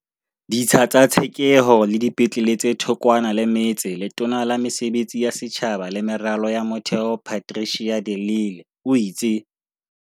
Ditsha tsa tshekeho le dipetlele tse thokwana le metse Letona la Mesebetsi ya Setjhaba le Meralo ya Motheo Patricia de Lille o itse.